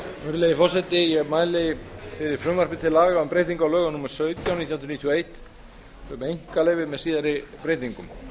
virðulegi forseti ég mæli fyrir frumvarpi til laga um breytingu á lögum númer sautján nítján hundruð níutíu og eitt um einkaleyfi með síðari breytingum